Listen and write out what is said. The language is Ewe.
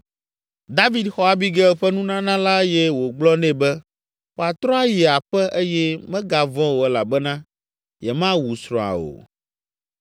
David xɔ Abigail ƒe nunana la eye wògblɔ nɛ be wòatrɔ ayi aƒe eye megavɔ̃ o elabena yemawu srɔ̃a o.